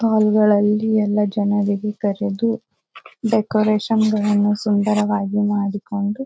ಹಾಲ್ ಗಳಲ್ಲಿ ಎಲ್ಲ ಜನರಿಗೆ ಕರೆದು ಡೆಕೋರೇಷನ್ ಗಳನ್ನೂ ಸುಂದರವಾಗಿ ಮಾಡಿಕೊಂಡು.